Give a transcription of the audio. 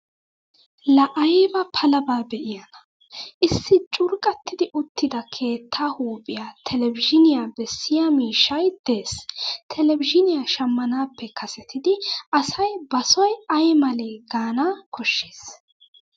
Laa ayba palaba be'iyaanaa! Issi curqqattiddi uttida keettaa huuphiya televizhiiniya bessiya miishshay de'es. Televizhiiniya shammanaappe kasetidi asay basoy aymalee Gaana koshshes.